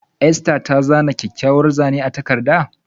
Esther ta zana kyakkyawar Zane a takarda.